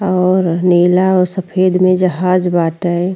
और नीला औ सफ़ेद में जहाज बाटै।